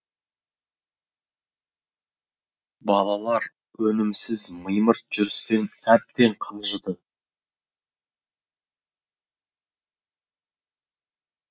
балалар өнімсіз мимырт жүрістен әбден қажыды